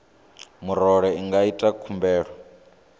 murole i nga ita khumbelo